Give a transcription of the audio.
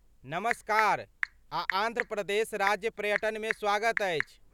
नमस्कार आ आन्ध्र प्रदेश राज्य पर्यटनमे स्वागत अछि।